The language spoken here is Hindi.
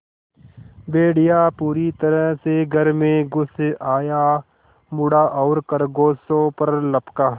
भेड़िया पूरी तरह से घर में घुस आया मुड़ा और खरगोशों पर लपका